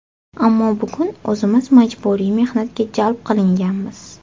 Ammo bugun o‘zimiz majburiy mehnatga jalb qilinganmiz.